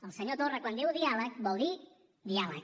el senyor torra quan diu diàleg vol dir diàleg